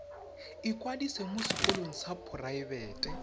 ikwadisa mo sekolong sa poraebete